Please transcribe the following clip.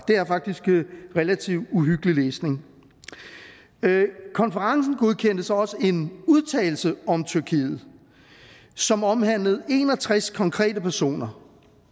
det er faktisk relativt uhyggelig læsning konferencen godkendte så også en udtalelse om tyrkiet som omhandlede en og tres konkrete personer